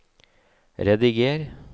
rediger